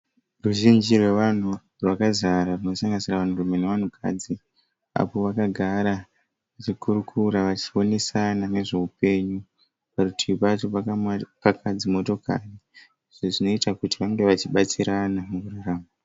Ruzhinji rwevanhu rwakazara runosanganisira vanhurume nevanhukadzi. Apo vakagara vachikurukura vachionesana nezveupenyu. Parutivi pacho pakapaka dzimotokari izvo zvinoita kuti vange vachibatsirana mukurarama.